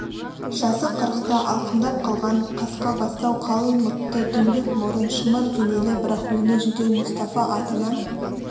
жасы қырықты алқымдап қалған қасқабастау қалың мұртты дөңбек мұрын шымыр денелі бірақ өңі жүдеу мұстафа атынан